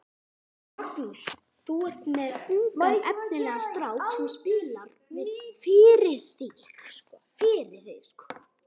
Magnús: Þú er með ungan efnilegan strák sem spilar fyrir þig?